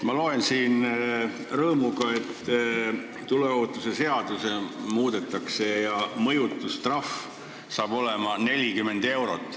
Ma loen siin rõõmuga, et tuleohutuse seadust muudetakse ja mõjutustrahv saab olema 40 eurot.